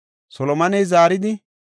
Solomoney zaaridi,